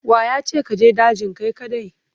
Wa ya ce ka je dajin kai kaɗai?